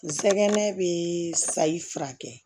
N sɛgɛn bɛ sayifura kɛ